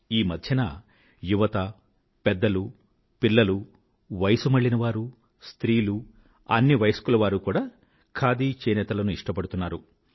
ఈమధ్యన యువత పెద్దలు పిల్లలు వయసుమళ్ళినవారు స్త్రీలు అన్ని వయస్కులవారూ కూడా ఖాదీ చేనేతలను ఇష్టపడుతున్నారు